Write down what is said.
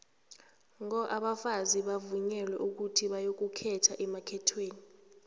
ngo abafazi bavunyelwa ukuthi bayokukhetha emakhethweni